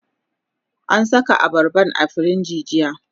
na Saka abarban a firij jiya